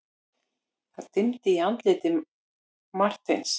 Það dimmdi í andliti Marteins.